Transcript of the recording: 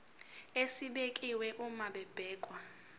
esibekiwe uma kubhekwa